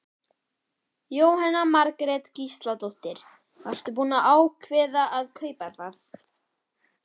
Jóhanna Margrét Gísladóttir: Varstu búinn að ákveða að kaupa það?